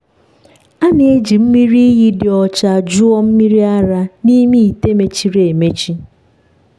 a na-eji mmiri iyi dị ọcha jụọ mmiri ara n’ime ite mechiri emechi.